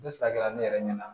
Ne furakɛla ne yɛrɛ ɲɛna